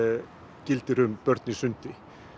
gilda um börn í sundi